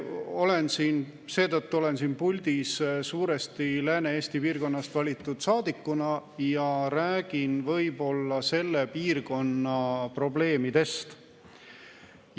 Olen siin puldis suuresti Lääne-Eesti piirkonnast valitud saadikuna ja räägin võib-olla selle piirkonna probleemidest.